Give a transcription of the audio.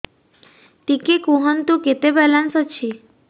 ଟିକେ କୁହନ୍ତୁ କେତେ ବାଲାନ୍ସ ଅଛି